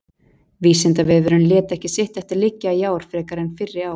Vísindavefurinn lét ekki sitt eftir liggja í ár frekar en fyrri ár.